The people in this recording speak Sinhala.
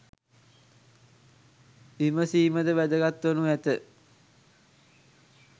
විමසීමද වැදගත් වනු ඇත.